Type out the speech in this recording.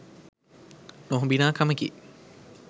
නොහොබිනා කමකි.